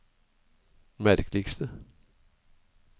merkeligste